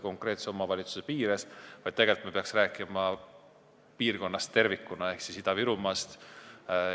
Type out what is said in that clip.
Tegelikult me peaksime rääkima piirkonnast tervikuna ehk Ida-Virumaast.